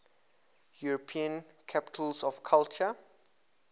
european capitals of culture